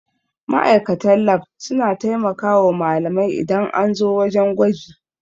Ma'aikatan lab suna taimakawa malamai idan an zo wajan gwaji